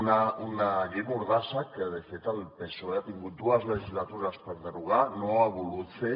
una llei mordassa que de fet el psoe ha tingut dues legislatures per derogar no ho ha volgut fer